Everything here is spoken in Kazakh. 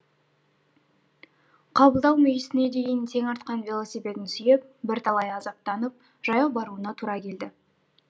қабылдау мүйісіне дейін тең артқан велосипедін сүйеп бірталай азаптанып жаяу баруына тура келді